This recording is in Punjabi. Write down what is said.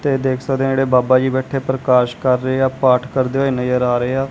ਤੇ ਦੇਖ ਸਕਦੇ ਆ ਜਿਹੜੇ ਬਾਬਾ ਜੀ ਬੈਠੇ ਪ੍ਰਕਾਸ਼ ਕਰ ਰਹੇ ਆ ਪਾਠ ਕਰਦੇ ਹੋਏ ਨਜ਼ਰ ਆ ਰਹੇ ਆ।